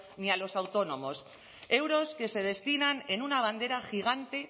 ni a los autónomos euros que se destinan en una bandera gigante